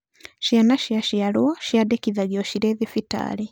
Ciana ciaciarwo ciandĩkithagio cirĩ thibitarĩ.